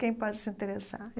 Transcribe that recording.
Quem pode se interessar?